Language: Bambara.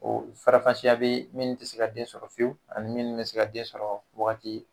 Ɔ farafasiya bɛ min tɛ se ka den sɔrɔ fiyewu ani min tɛ se ka den sɔrɔ wagati